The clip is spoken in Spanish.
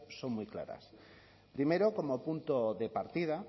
son muy claras primero como punto de partida